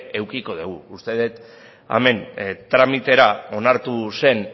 edukiko degu uste det hemen tramitera onartu zen